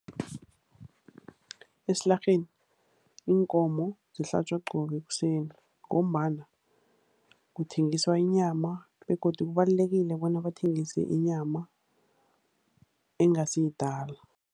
Esilarheni iinkomo zihlatjwa qobe ekuseni ngombana kuthengiswa inyama begodu kubalulekile bona bathengise inyama engasiyidala.